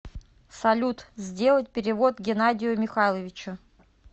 салют сделать перевод геннадию михайловичу